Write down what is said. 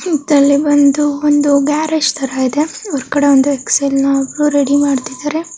ಇತ್ತಲ್ಲಿ ಬಂದು ಒಂದು ಗ್ಯಾರೇಜ್ ತರಾ ಇದೆ ಈ ಕಡೆ ಒಂದು ಎಕ್ಸೆಲ್ ನ ಅವ್ರು ರೆಡಿ ಮಾಡ್ತಾ ಇದಾರೆ .